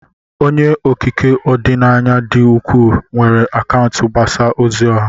Onye okike ọdịnaya dị ukwuu, nwere akaụntụ mgbasa ozi ọha.